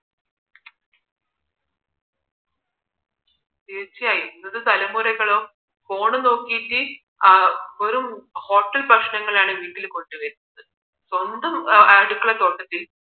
തീർച്ചയായും ഇന്നത്തെ തലമുറകളോ phone നോക്കിയിട്ട് ആ വെറും hotel ഭക്ഷണങ്ങളാണ് വീട്ടിൽ കൊണ്ടുവരുന്നത് സ്വന്തം അടുക്കള തോട്ടത്തിൽ